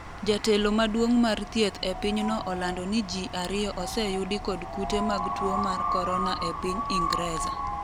jatelo maduong' mar thieth e pinyno olando ni jii ariyo oseyudi kod kute mag tuo mar Korona e piny Ingreza